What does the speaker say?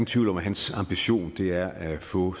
tvivl om at hans ambition er at få